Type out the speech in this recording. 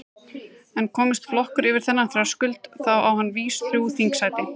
En komist flokkur yfir þennan þröskuld þá á hann vís þrjú þingsæti.